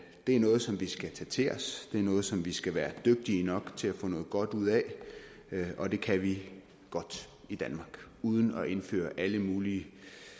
det er noget som vi skal tage til os det er noget som vi skal være dygtige nok til at få noget godt ud af og det kan vi godt i danmark uden at indføre alle mulige